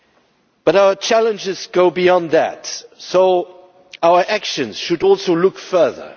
However, our challenges go beyond that, and our actions should also look further.